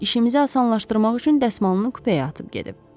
İşimizi asanlaşdırmaq üçün dəsmalını kupəyə atıb gedib.